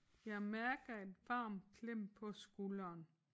Jeg mærker et varmt klem på skulderen